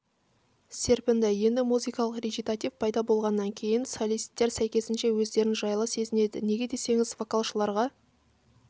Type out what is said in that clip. серпінді енді музыкалық речитатив пайда болғаннан кейін солисттер сәйкесінше өздерін жайлы сезінеді неге десеңіз вокалшыларға